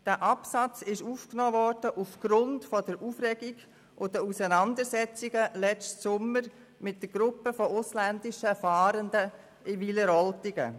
Er wurde aufgenommen aufgrund der Aufregung und der Auseinandersetzungen im letzten Sommer um eine Gruppe ausländischer Fahrender in Wileroltigen.